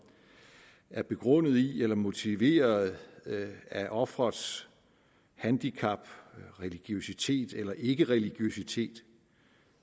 er begrundet i eller motiveret af offerets handicap religiøsitet eller ikkereligiøsitet